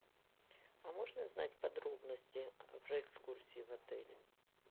а можно узнать подробности про экскурсии в отеле